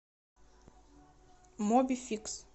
мобификс